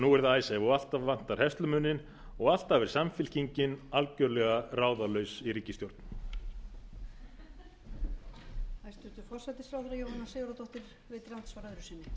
virðulegi forseti ég held að það sé nauðsynlegt fyrir formann framsóknarflokksins að rifja upp sögu einkavæðingarinnar þegar hann heldur því